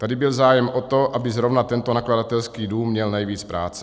Tady byl zájem o to, aby zrovna tento nakladatelský dům měl nejvíc práce.